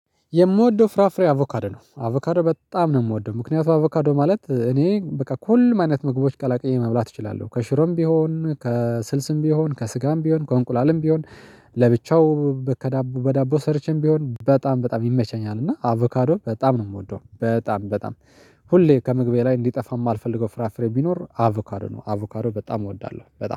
የምወደው ፍራፍሬ አቮካዶ ነው አቮካዶ በጣም ነው የምወደው። ምክንያቱም አቮካዶ ማለት እኔ በቃ ኮልም አይነት ምግቦች ቀላቅዬ መብላት እችላለሁ ከሽሮም ቢሆን ከስልስም ቢሆን ከስጋም ቢሆን ከእንቁላልም ቢሆን። ለብቻው ከዳቦ በዳቦ ሰርቼም ቢሆን በጣም በጣም ይመቸኛል እና አቮካዶ በጣም ነው የምወደው። በጣም በጣም ሁሌ ከምግቤ ላይ እንዲጠፋ የማልፈልገው ፍራፍሬ ቢኖር አቮካዶ ነው። አቮካዶ በጣም እወዳለሁ በጣም